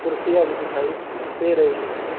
कुर्सियां भी दिखाई दे रही है।